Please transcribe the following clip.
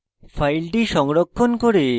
file সংরক্ষণ করে